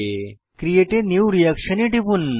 create a new reaction এ টিপুন